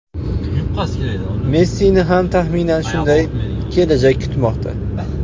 Messini ham, taxminan, shunday kelajak kutmoqda.